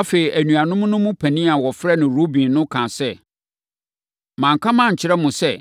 Afei, anuanom no mu panin a wɔfrɛ no Ruben no kaa sɛ, “Manka mankyerɛ mo sɛ